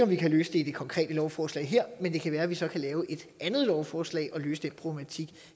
vi kan løse det i det konkrete lovforslag her men det kan være at vi så kan lave et andet lovforslag og løse den problematik